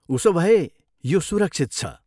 उसोभए, यो सुरक्षित छ।